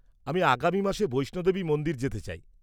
আমি আগামী মাসে বৈষ্ণো দেবী মন্দির যেতে চাই।